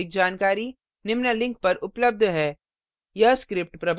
इस mission पर अधिक जानकारी निम्न लिंक पर उपलब्ध है